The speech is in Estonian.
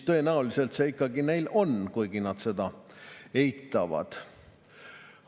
Tõenäoliselt see ikkagi neil on, kuigi nad seda eitavad.